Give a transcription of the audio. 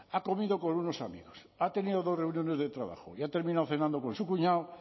ha comido con unos amigos ha tenido dos reuniones de trabajo y ha terminado cenando con su cuñado